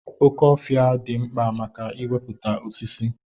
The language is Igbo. Oke ofia di mkpa maka iweputa osisi.